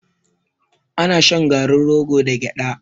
Ana shan garin rogo da gyaɗa.